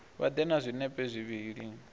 vha ḓe na zwinepe zwivhili